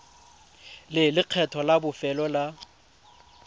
le lekgetho la bofelo la